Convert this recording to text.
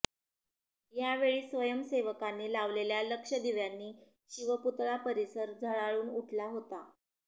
या वेळी स्वयंसेवकांनी लावलेल्या लक्ष्य दिव्यांनी शिवपुतळा परिसर झळाळून उठला होता